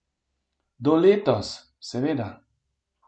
Do letos, seveda.